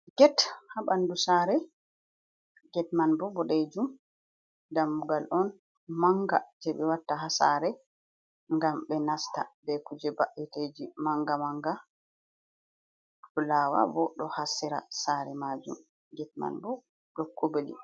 Get haa ɓandu sare. Get man bo boɗejum, damugal on manga je ɓe watta haa saare ngam ɓe nasta ɓe kuje ɓa'eteji manga-manga. Fualwa bo ɗo haa sera sare majum. Get man bo ɗo kobli.